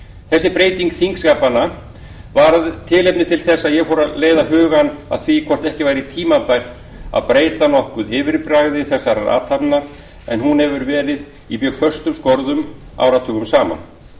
þessi breyting þingskapanna varð tilefni þess að ég fór að leiða hugann að því hvort ekki væri tímabært að breyta nokkuð yfirbragði þessarar athafnar en hún hefur verið í mjög föstum skorðum áratugum saman